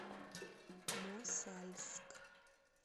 мосальск